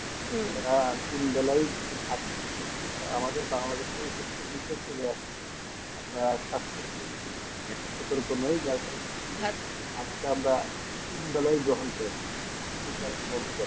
হুম তারা তিন বেলায় ভাত খাচ্ছে না আমাদের বাংলাদেশ উপরে চলে আসছে আমরা স্বাস্থ্যের উপর আমরা তিনবেলা ভাত গ্রহণ করি না